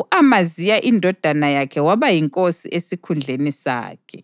U-Amaziya indodana yakhe waba yinkosi esikhundleni sakhe.